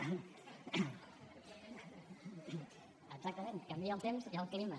exactament canvia el temps i el clima